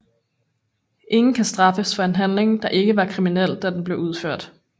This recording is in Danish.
Ingen kan straffes for en handling der ikke var kriminel da den blev udført